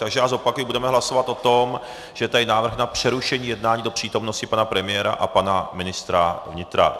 Takže já zopakuji, budeme hlasovat o tom, že je tady návrh na přerušení jednání do přítomnosti pana premiéra a pana ministra vnitra.